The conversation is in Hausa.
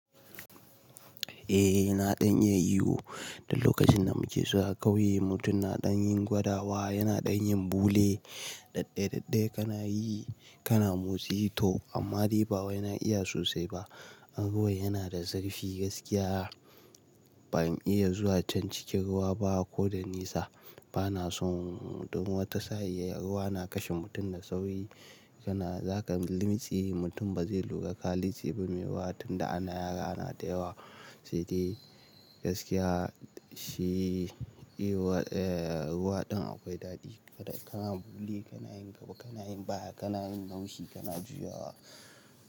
Eh, yana ɗan yin iyo. Da lokacin da muke zuwa ƙauye, mutum na ɗan yin gwadawa, yana ɗan yin bule. Daɗaidaɗa kana yi, kana mosquito amma riba wai na iya sosai ba. Ruwa yana da zarfi gaskiya. Ba mu iya zuwa can cikin ruwa ba ko da nisa. Ba na so mutum wata sa'iya, ruwa na kashe mutum da sauri. Kana za ka lamtshi, mutum ba zai lura ƙalici ba mai wahala tunda ana yara na da yawa. Sai dai gaskiya shi iyo, eh, ruwa ɗin akwai daɗi. Kana bule, kana yin gaba, kana yin baya, kana yin naushi, kana juya.